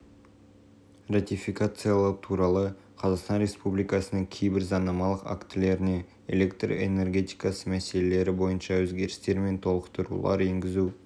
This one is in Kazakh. ратификациялау туралы қазақстан республикасының кейбір заңнамалық актілеріне электр энергетикасы мәселелері бойынша өзгерістер мен толықтырулар енгізу